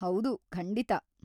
ಹೌದು, ಖಂಡಿತಾ!